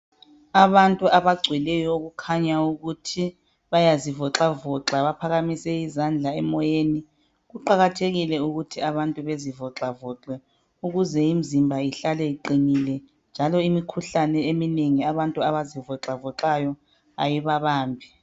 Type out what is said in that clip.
Abantu abagcweleyo abelula imizimba yabo bakhanya bephakamise izandla emoyeni. Kuqakathekile ukuthi abantu belule imizimba yabo ukuze ihlale iqinile njalo kwenza bangabanjwa yimikhuhlane